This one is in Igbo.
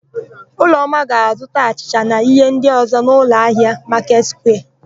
Ụlọma ga-azụta achịcha na íhé ndị ọ̀zọ́ n'ụlọahịa Maketị Sukwia.